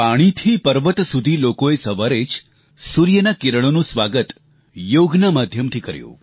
પાણીથી પર્વત સુધી લોકોએ સવારે જ સૂર્યના કિરણોનું સ્વાગત યોગના માધ્યમથી કર્યું